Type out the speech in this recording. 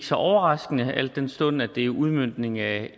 så overraskende al den stund at det er udmøntningen af